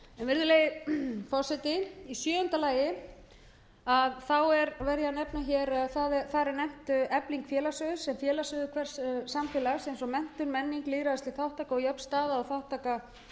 virðulegi forseti í sjöunda lagi er nefnt efling félags sem félagsauður hvers samfélags eins og menntun menning lýðræðisleg þátttaka og jöfn staða og þátttaka